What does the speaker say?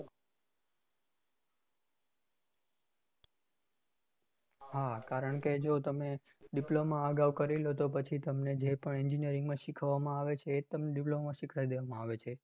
હા કારણ કે જો તમે, diploma આગળ કરી લો તો પછી તમને જે પણ engineering માં શીખવવામાં આવે છે એજ તમને diploma માં શીખવાડી દેવામાં આવે છે.